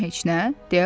Tamam heç nə?